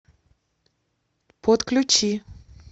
подключи